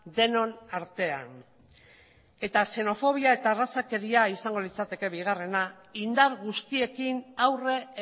denon artean eta xenofobia eta arrazakeria izango litzateke bigarrena indar guztiekin aurre